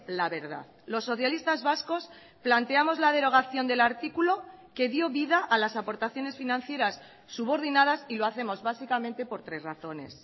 la verdad los socialistas vascos planteamos la derogación del artículo que dio vida a las aportaciones financieras subordinadas y lo hacemos básicamente por tres razones